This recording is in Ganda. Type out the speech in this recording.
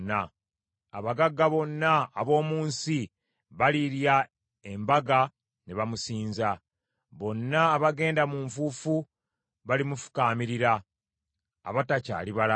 Abagagga bonna ab’omu nsi balirya embaga, ne bamusinza. Bonna abagenda mu nfuufu, balimufukaamirira, abatakyali balamu.